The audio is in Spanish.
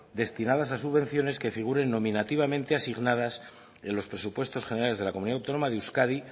destinadas a subvenciones que figuren nominativamente asignadas en los presupuestos generales de la comunidad autónoma de euskadi